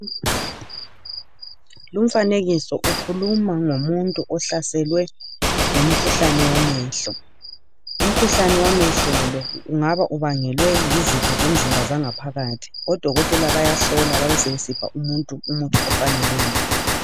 Lumfanekiso ukhuluma ngomuntu ohlaselwe ngomkhuhlane wamehlo ,umkhuhlane wamehlo lo ungaba ubangelwe yizitho zomzimba zangaphakathi odokotela bayahlola basebesipha umuntu umuthi ofaneleyo.